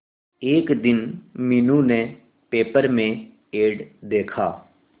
एक दिन मीनू ने पेपर में एड देखा